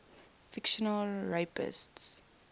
fictional rapists